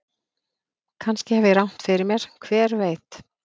Kannski hef ég rangt fyrir mér, hver veit?